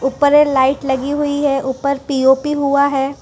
ऊपर ये लाइट लगी हुआ है ऊपर पी_ओ_पी हुआ है।